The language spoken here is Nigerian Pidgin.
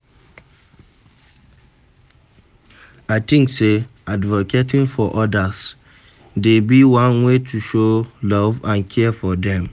I dey think say advocating for odas dey be one way to show love and care for dem.